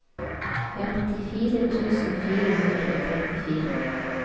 femtifire tusen fire hundre og trettifire